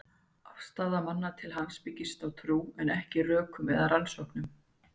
Afstaða manna til hans byggist á trú, en ekki rökum eða rannsóknum.